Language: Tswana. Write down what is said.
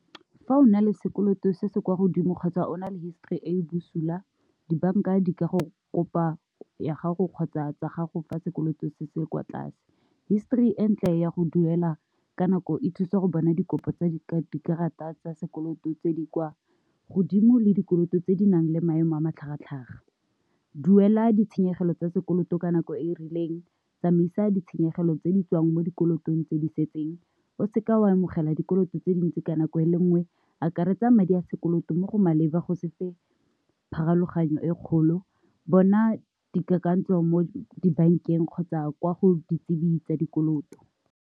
Fa o na le sekoloto se se kwa godimo kgotsa o na le histori e e bosula dibanka di ka go kopa ya gago kgotsa tsa gago fa sekoloto se se kwa tlase, histori e ntle ya go duela ka nako e thusa go bona dikopo tsa dikarata tsa sekoloto tse di kwa godimo le dikoloto tse di nang le maemo a matlhagatlhaga. Duela ditshenyegelo tsa sekoloto ka nako e e rileng, tsamaisa ditshenyegelo, tse di tswang mo dikolotong tse di setseng, o seka wa amogela dikoloto tse tse dintsi ka nako e le nngwe, akaretsa madi a sekoloto mo go maleba go sefe pharologanyo e kgolo, bona dikakantsho mo dibankeng kgotsa kwa go ditsebe tsa dikoloto.